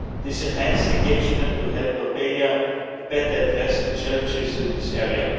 This enhanced engagement will help Albania better address the challenges in this area.